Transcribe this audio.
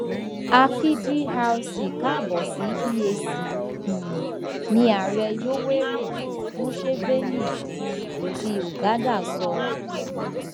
a kí DRC káàbò sí EAC um ni ààrẹ yoweri museveni um ti uganda sọ